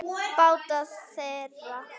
Báta þeirra